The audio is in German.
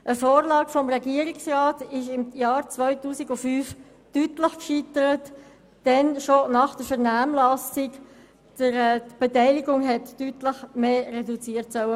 Eine Vorlage des Regierungsrats im Jahr 2005, die eine deutliche Reduzierung der Beteiligung vorschlug, scheiterte klar.